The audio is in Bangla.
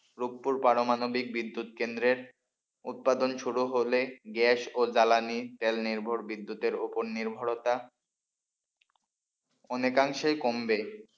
রুপপুর পারমাণবিক বিদ্যুৎ কেন্দ্রের উৎপাদন শুরু হলে গ্যাস ও জ্বালানি তেল নির্ভর বিদ্যুতের ওপর নির্ভরতা অনেকাংশই কমবে।